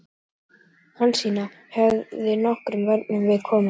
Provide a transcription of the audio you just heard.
Hansína hefði nokkrum vörnum við komið.